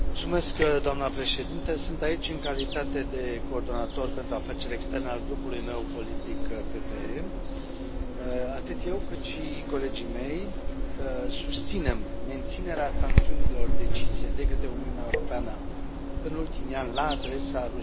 Doamna președintă, sunt aici în calitate de coordonator pentru afaceri externe al grupului meu politic PPE. Atât eu cât și colegii mei susținem menținerea sancțiunilor decise de către Uniunea Europeană în ultimii ani la adresa Rusiei.